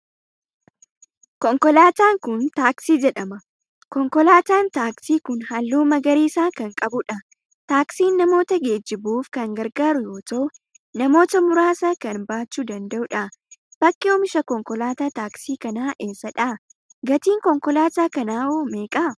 konkolaataan kun taaksii jedhama. konkolaataan taaksii kun halluu magariisa kan qabudha. Taaksiin namoota geejjibuuf kan gargaaru yoo ta'u namoota muraasa kan baachuu danda'udha. Bakki oomisha konkolaataa taaksii kanaa eessadha? gatiin konkolaataa kanaa hoo meeqa?